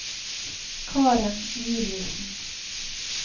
Karen Juliussen